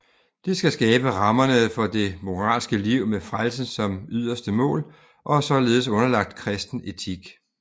Det skal skabe rammerne for det moralske liv med frelsen som yderste mål og er således underlagt kristen etik